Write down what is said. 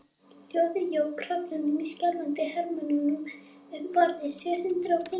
Hljóðið jók hrollinn í skjálfandi hermönnunum um borð, sjö hundruð og fimmtíu sálum.